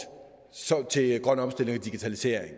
til grøn omstilling og digitalisering